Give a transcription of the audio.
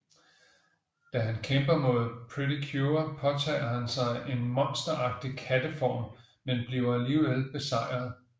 Da han kæmper mod Pretty Cure påtager han sig en monsteragtig katteform men bliver alligevel besejret